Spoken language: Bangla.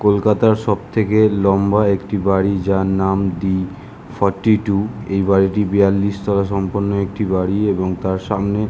কোলকাতার সব থেকে লম্বা একটি বাড়ি যার নাম দি ফোর্টি টু এই বাড়িটি বিয়াল্লিশ তোলা সম্পন্ন একটি বাড়ি এবং তার সামনে ।